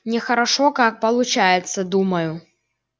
нехорошо как получается думаю